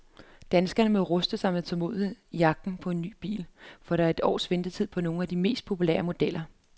Danskerne må ruste sig med tålmodighed i jagten på ny bil, for der er et års ventetid på nogle af de mest populære modeller.